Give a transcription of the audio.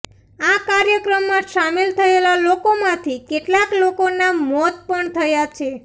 આ કાર્યક્રમમાં સામેલ થયેલા લોકોમાંથી કેટલાક લોકોના મોત પણ થયા છે